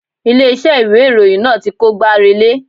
Ilé iṣẹ́ ìwé ìròyìn náà ti kó gbá relé.